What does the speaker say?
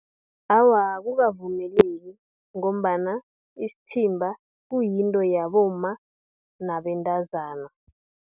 Awa, akukavumeleki, ngombana isithimba kuyinto yabomma nabentazana.